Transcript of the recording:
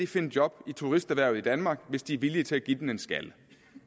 finde job i turisterhvervet i danmark hvis de er villige til at give den en skalle